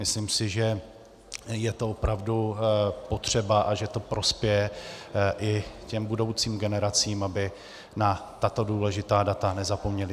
Myslím si, že je to opravdu potřeba a že to prospěje i těm budoucím generacím, aby na tato důležitá data nezapomněly.